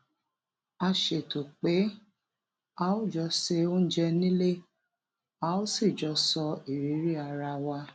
a ṣètò pé a ó jọ se oúnjẹ nílé a ó sì jọ sọ ìrírí ara wa